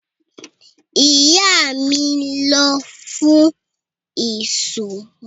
Ìyá mi ń lọ fún ìsọmọlórúkọ lọ́la.